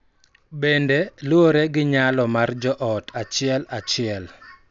Bende, luwore gi nyalo mar jo ot achiel achiel